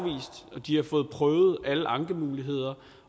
har fået prøvet alle ankemuligheder